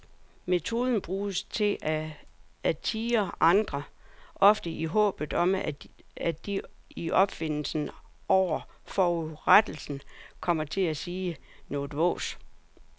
Metoden bruges til at tirre andre, ofte i håbet om at de i ophidselsen over forurettelsen kommer til at sige noget vås.